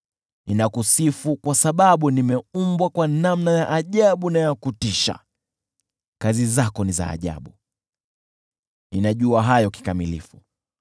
Ninakusifu kwa sababu nimeumbwa kwa namna ya ajabu na ya kutisha; kazi zako ni za ajabu, ninajua hayo kikamilifu.